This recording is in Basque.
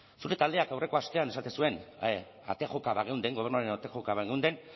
zure taldeak aurreko astean esaten zuen ate joka bageunden gobernuaren ate joka bageunden